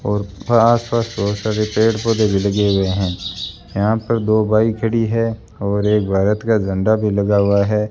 और आस पास बहोत सारे पेड़ पौधे भी लगे हुए हैं यहां पर दो बाइक खड़ी है और एक भारत का झंडा भी लगा हुआ है।